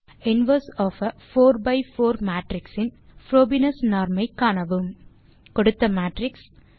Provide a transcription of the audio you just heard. inverse of A 4 by 4 matrix இன் Frobenius norm ஐ காணவும் கொடுத்த மேட்ரிக்ஸ்